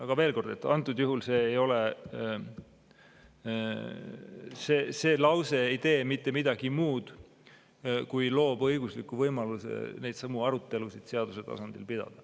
Aga veel kord, antud juhul see lause ei tee mitte midagi muud, kui loob õigusliku võimaluse neidsamu arutelusid seaduse tasandil pidada.